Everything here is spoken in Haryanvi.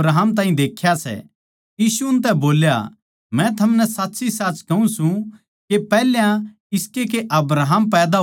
यीशु उनतै बोल्या मै थमनै साच्चीसाच कहूँ सूं के पैहल्या इसकै के अब्राहम पैदा होया मै सूं